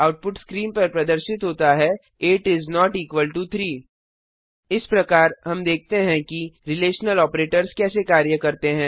output screen पर प्रदर्शित होता है 8 इस नोट इक्वल टो 3 इस प्रकार हम देखते हैं कि रिलेशनल ऑपरेटर्स कैसे कार्य करते हैं